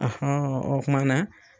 o kuma na